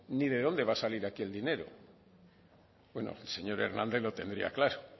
ni de dónde va a salir aquí el dinero bueno el señor hernández lo tendría claro